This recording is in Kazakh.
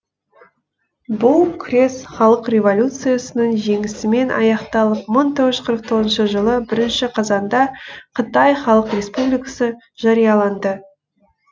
бұл күрес халық революциясының жеңісімен аяқталып мың тоғыз жүз қырық тоғызыншы жылы бірінші қазанда қытай халық республикасы жарияланды